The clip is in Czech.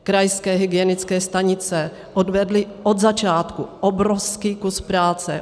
Krajské hygienické stanice odvedly od začátku obrovský kus práce.